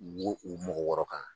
Wo u mɔgɔ wɔɔrɔ kan